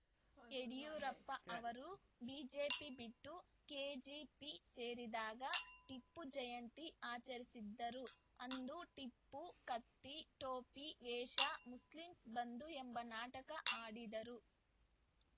ಯಡಿಯೂರಪ್ಪ ಅವರು ಬಿಜೆಪಿ ಬಿಟ್ಟು ಕೆಜೆಪಿ ಸೇರಿದಾಗ ಟಿಪ್ಪು ಜಯಂತಿ ಆಚರಿಸಿದರು ಅಂದು ಟಿಪ್ಪು ಕತ್ತಿ ಟೊಪ್ಪಿ ವೇಷ ಮುಸ್ಲಿಂಮ್ಸ್ ಬಂಧು ಎಂಬ ನಾಟಕ ಆಡಿದರು